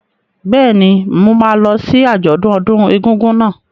Bẹ́ẹ̀ni, mo máa lọ sí àjọ̀dún ọdún egúngún náà.